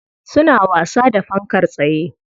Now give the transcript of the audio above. Suna wasa da fankar tsaye.